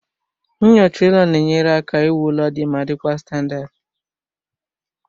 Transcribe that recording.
Nyocha ụlọ na-enyere aka iwu ụlọ dị mma dị kwa standadi